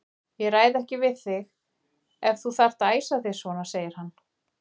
Ég ræði ekki við þig ef þú þarft að æsa þig svona, segir hann.